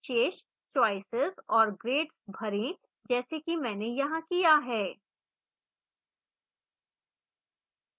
शेष choices और grades भरें जैसा कि मैंने यहाँ किया है